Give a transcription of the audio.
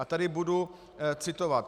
A tady budu citovat.